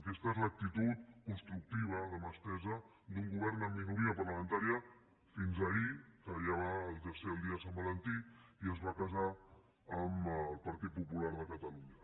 aquesta és l’actitud constructiva de mà estesa d’un govern amb minoria parlamentària fins ahir que ja va ser el dia de sant valentí i es va casar amb el partit popular de catalunya